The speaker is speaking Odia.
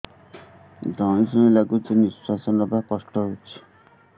ଧଇଁ ସଇଁ ଲାଗୁଛି ନିଃଶ୍ୱାସ ନବା କଷ୍ଟ ହଉଚି